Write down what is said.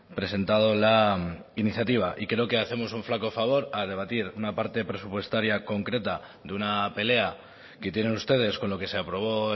presentado la iniciativa y creo que hacemos un flaco favor a debatir una parte presupuestaria concreta de una pelea que tienen ustedes con lo que se aprobó